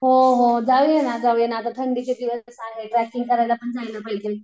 हो ना जाऊया ना जाऊया आता थंडीचे दिवस आहेत करायला पण जायला पाहिजे.